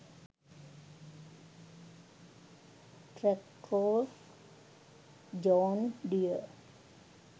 traktor john deer